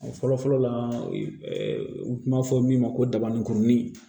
O fɔlɔ fɔlɔ la u b'a fɔ min ma ko dabani kurunin